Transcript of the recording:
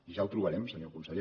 ja ho trobarem senyor conseller